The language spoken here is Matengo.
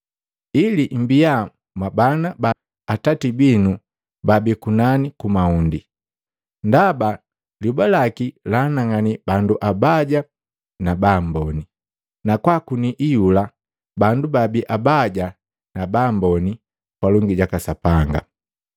ili mbia mwabana ba Atati binu baabii kunani ku mahundi. Ndaba lyoba laki laanang'ani bandu abaya na baamboni, na kwaakuni iyula bandu baabi abaya na baamboni palongi jaka Sapanga.